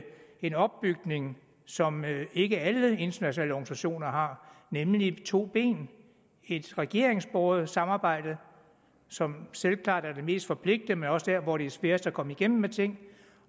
en opbygning som ikke alle internationale organisationer har nemlig en to ben et regeringsbåret samarbejde som selvklart er det mest forpligtende men også er der hvor det er sværest at komme igennem med tingene